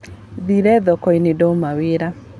Thire thokoinĩ ndauma wĩra.